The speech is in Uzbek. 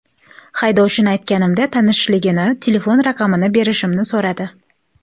Haydovchini aytganimda, tanishligini telefon raqamini berishimni so‘radi.